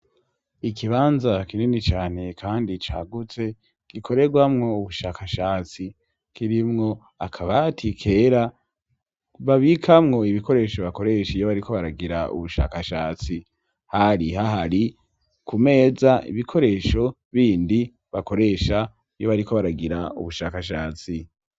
Ikibanza kinini cane kandi cagutse, gikorerwamwo ubushakashatsi, kirimwo akabati kera babikamwo ibikoresho bakoresha iyo bariko baragira ubushakashatsi, hari hahari ku meza ibikoresho bindi bakoresha iyo bariko baragira ubushakashatsi.